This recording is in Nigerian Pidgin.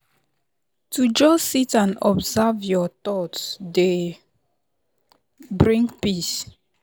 to just sit and observe your thoughts dey bring peace.